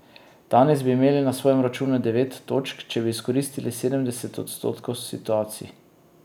Danes bi imeli na svojem računu devet točk, če bi izkoristili sedemdeset odstotkov situacij.